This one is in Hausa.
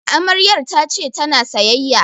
Amaryar ta ce ta na sayayya